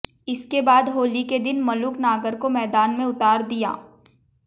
इसके बाद होली के दिन मलूक नागर को मैदान में उतार दिया